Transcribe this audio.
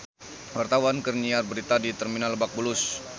Wartawan keur nyiar berita di Terminal Lebak Bulus